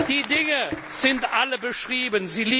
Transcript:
Die Dinge sind alle beschrieben.